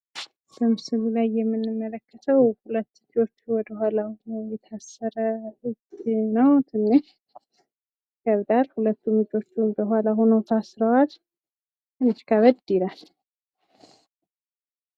በምስሉ ላይ የምንመለከተው ሁለት እጆቹ ወደኃላ ሆነው የታሰረ ነው። ትንሽ ይከብዳል ።ሁለቱም እጆቹ ወደኋላ ሆነው ታስረዋል። ትንሽ ከበድ ይላል።